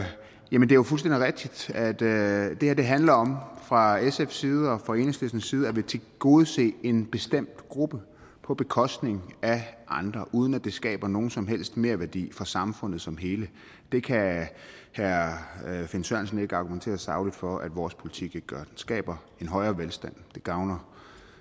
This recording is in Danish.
jo fuldstændig rigtigt at det her handler om fra sfs side og fra enhedslistens side at ville tilgodese en bestemt gruppe på bekostning af andre uden at det skaber nogen som helst merværdi for samfundet som hele det kan herre finn sørensen ikke argumentere sagligt for at vores politik ikke gør den skaber en højere velstand den gavner